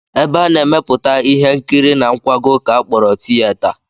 Ebe a na-emepụta ihe nkiri na nkwago ka a kpọrọ tiyeta